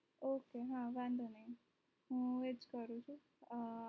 ok હા વાધો નહિ હું એજ કરું છુ